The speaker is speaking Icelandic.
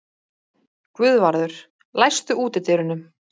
Guðvarður, læstu útidyrunum.